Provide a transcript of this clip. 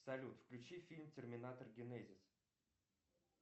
салют включи фильм терминатор генезис